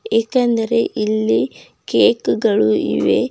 ಏಕೆಂದರೆ ಇಲ್ಲಿ ಕೇಕು ಗಳು ಇವೆ.